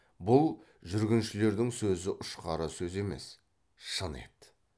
бұл жүргіншілердің сөзі ұшқары сөз емес шын еді